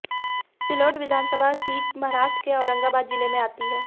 सिल्लोड विधानसभा सीट महाराष्ट्रके औरंगाबाद जिले में आती है